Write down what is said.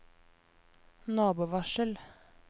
nabovarsel